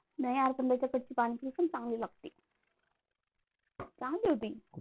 नाही यार पण कडची पाणीपुरी पण चांगली लागती, चांगली होती